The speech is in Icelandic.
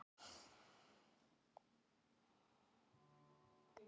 Það var engu líkara en hver einasti ökufær maður hefði rokið af stað.